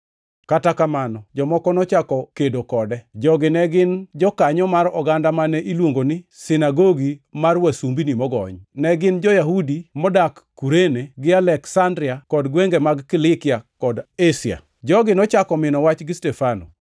Kata kamano, jomoko nochako kedo kode. Jogi ne gin jokanyo mar oganda mane iluongo ni sinagogi mar wasumbini mogony. Ne gin jo-Yahudi modak Kurene, gi Aleksandria kod gwenge mag Kilikia kod Asia. Jogi nochako mino wach gi Stefano,